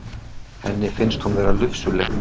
Henni finnst hún vera lufsuleg.